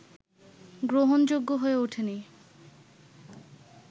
গ্রহণযোগ্য হয়ে ওঠেনি